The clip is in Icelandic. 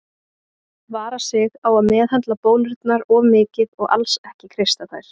Vara sig á að meðhöndla bólurnar of mikið og alls ekki kreista þær.